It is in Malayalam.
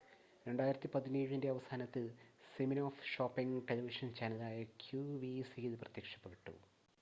2017-ൻ്റെ അവസാനത്തിൽ സിമിനോഫ് ഷോപ്പിംഗ് ടെലിവിഷൻ ചാനലായ ക്യുവിസിയിൽ പ്രത്യക്ഷപ്പെട്ടു